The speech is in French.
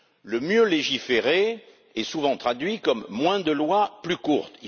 Le mieux légiférer est souvent traduit comme moins de lois, plus courtes.